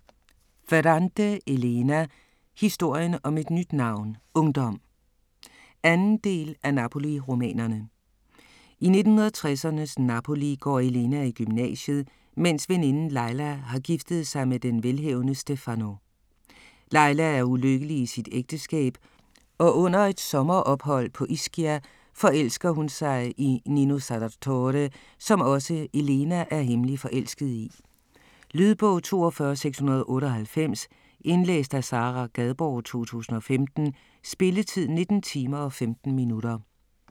Ferrante, Elena: Historien om et nyt navn: ungdom 2. del af Napoli-romanerne. I 1960'ernes Napoli går Elena i gymnasiet, mens veninden Lila har giftet sig med den velhavende Stefano. Lila er ulykkelig i sit ægteskab, og under et sommerophold på Ischia forelsker hun sig i Nino Sarratore, som også Elena er hemmeligt forelsket i. Lydbog 42698 Indlæst af Sara Gadborg, 2015. Spilletid: 19 timer, 15 minutter.